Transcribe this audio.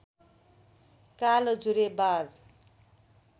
कालो जुरेबाज